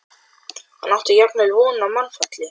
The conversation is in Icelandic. Hann átti jafnvel von á mannfalli.